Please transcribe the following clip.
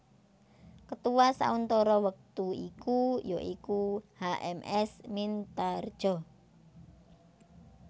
Ketua sauntara wektu iku ya iku H M S Mintaredja